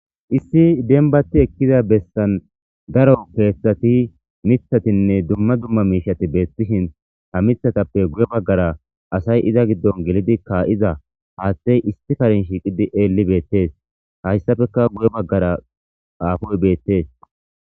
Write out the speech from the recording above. Issi dembati ekiza besan daro kethati mithatine duma duma mishati betishin ha mithatuppe guye bagara asay iza gido gelidi ka'ishe hathey issi kare shiqidi eli betes haysappeka guye bagara afoy betes